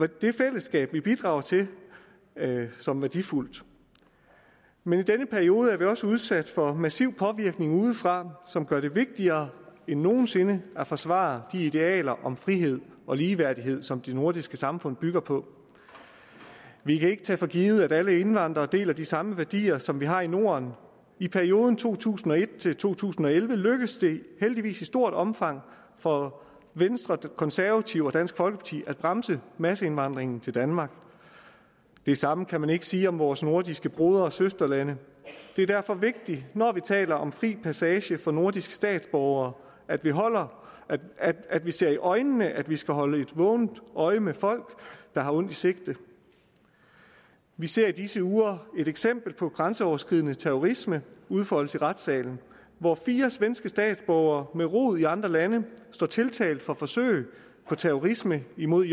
det fællesskab vi bidrager til som værdifuldt men i denne periode bliver vi også udsat for massiv påvirkning udefra som gør det vigtigere end nogen sinde at forsvare de idealer om frihed og ligeværdighed som de nordiske samfund bygger på vi kan ikke tage for givet at alle indvandrere deler de samme værdier som vi har i norden i perioden to tusind og et til to tusind og elleve lykkedes det heldigvis i stort omfang for venstre konservative og dansk folkeparti at bremse masseindvandringen til danmark det samme kan man ikke sige om vores nordiske broder og søsterlande det er derfor vigtigt når vi taler om fri passage for nordiske statsborgere at vi at vi ser i øjnene at vi skal holde et vågent øje med folk der har ondt i sinde vi ser i disse uger et eksempel på grænseoverskridende terrorisme udfolde sig i retssalen hvor fire svenske statsborgere med rod i andre lande står tiltalt for forsøg på terrorisme imod